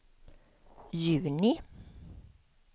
juni